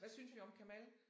Hvad synes vi om Kemal?